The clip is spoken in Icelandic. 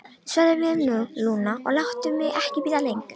Svaraðu mér nú, Lúna, og láttu mig ekki bíða lengur.